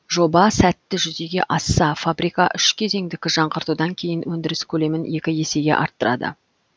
жоба сәтті жүзеге асса фабрика үш кезеңдік жаңғыртудан кейін өндіріс көлемін екі есеге арттырады